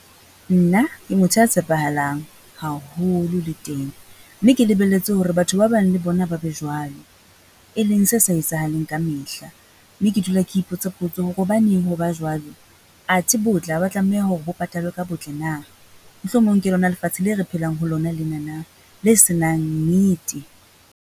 Ke motho ya tshepahalang, mme ke lebelletse hore ba bang le bona ba be jwalo, e leng se sa etsahaleng ka mehla.